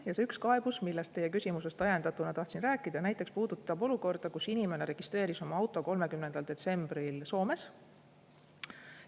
Ja see üks kaebus, millest ma teie küsimusest ajendatuna tahtsin rääkida, puudutab olukorda, kus inimene registreeris oma auto 30. detsembril Soomes.